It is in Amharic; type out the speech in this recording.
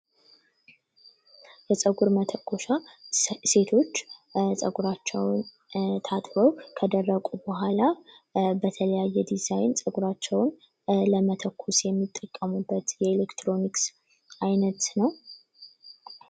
የፀጉር መተኮሻ ሴቶች ጸጉራቸውን ታጥበው ከደረቁ በኋላ በተለያየ የዲዛይን ፀጉራቸውን ለመተኮስ የሚጠቀሙበት የኤሌክትሮኒክስ አይነት ነው።